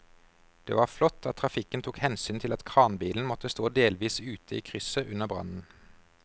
Det var flott at trafikken tok hensyn til at kranbilen måtte stå delvis ute i krysset under brannen.